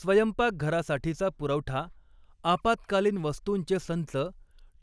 स्वयंपाकघरासाठीचा पुरवठा, आपात्कालीन वस्तूंचे संच,